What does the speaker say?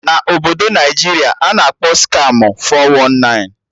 Na Obodo Naịjiria a na-akpọ Skamụ 419